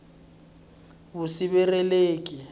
vusirheleleki